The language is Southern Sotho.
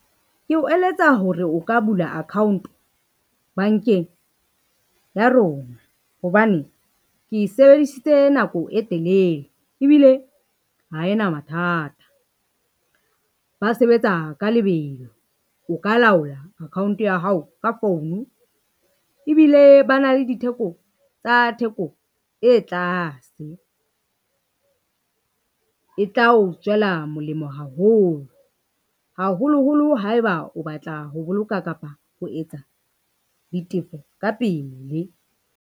Ke o eletsa hore o ka bula account-o bankeng ya rona, hobane ke e sebedisitse nako e telele ebile ha ena mathata. Ba sebetsa ka lebelo, o ka laola account ya hao ka founu ebile ba na le ditheko tsa theko e tlase e tla o tswela molemo haholo, haholoholo haeba o batla ho boloka kapa ho etsa ditefo ka pele.